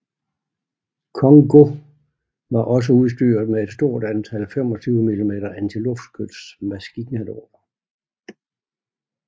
Kongō var også udstyret med et stort antal 25 mm antiluftskyts maskinkanoner